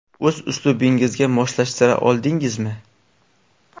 O‘z uslubingizga moslashtira oldingizmi?